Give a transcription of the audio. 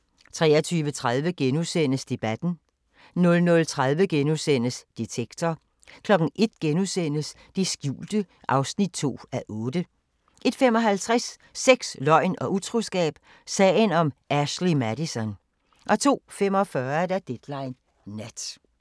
23:30: Debatten * 00:30: Detektor * 01:00: Det skjulte (2:8)* 01:55: Sex, løgn og utroskab – sagen om Ashley Madison 02:45: Deadline Nat